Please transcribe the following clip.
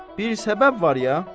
Bir səbəb var ya.